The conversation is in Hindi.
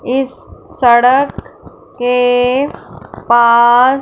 इस सड़क के पास--